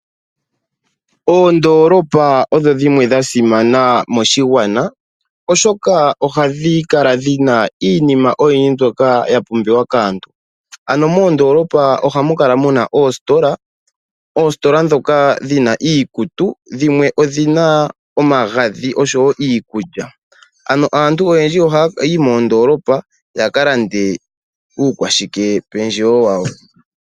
Oondolopa odho dhimwe dha simana moshigwana oshoka ohadhi kala dhina iinima oyindji mbyoka ya pumbiwa kaantu. Ano moondolopa ohamu kala muna oositola. Oositola dhoka dhina iikutu, dhimwe odhina omagadhi oshowo iikulya, ano aantu oyendji ohaya yi moondolopa ya ka lande uukwashike pendjewo wawo.